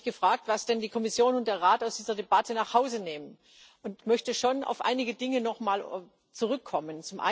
Ich habe mich gefragt, was denn die Kommission und der Rat aus dieser Debatte mit nach Hause nehmen, und möchte schon auf einige Dinge nochmal zurückkommen.